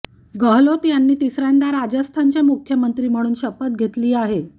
गेहलोत यांनी तिसऱ्यांदा राजस्थानचे मुखमंत्री म्हणून शपथ घेतली आहे